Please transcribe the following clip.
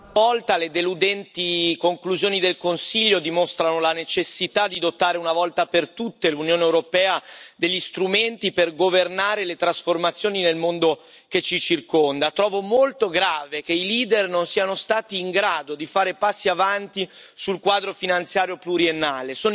Signora Presidente, onorevoli colleghi, ancora una volta le deludenti conclusioni del Consiglio dimostrano la necessità di dotare una volta per tutte l'Unione europea degli strumenti per governare le trasformazioni nel mondo che ci circonda. Trovo molto grave che i leader non siano stati in grado di fare passi avanti sul quadro finanziario pluriennale